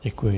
Děkuji.